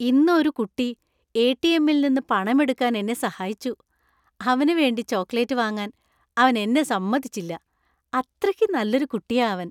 ഇന്ന് ഒരുകുട്ടി എ.ടി.എം.ൽ നിന്ന് പണം എടുക്കാൻ എന്നെ സഹായിച്ചു, അവന് വേണ്ടി ചോക്ലേറ്റ് വാങ്ങാൻ അവൻ എന്നെ സമ്മതിച്ചില്ല. അത്രയ്ക്ക് നല്ല ഒരു കുട്ടിയാ അവൻ.